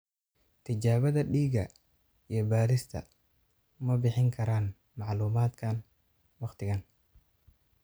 Tijaabada dhiiga iyo baadhista ma bixin karaan macluumaadkan wakhtigan.